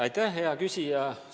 Aitäh, hea küsija!